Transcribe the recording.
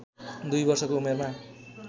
दुई वर्षको उमेरमा